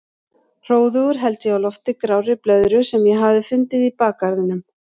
Hróðugur held ég á lofti grárri blöðru sem ég hafði fundið í bakgarðinum.